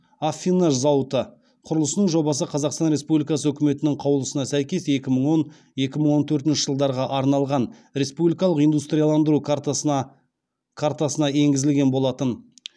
аффинаж зауыты құрылысының жобасы қазақстан республикасы үкіметінің қаулысына сәйкес екі мың он екі мың он төртінші жылдарға арналған республикалық индустрияландыру картасына енгізілген болатын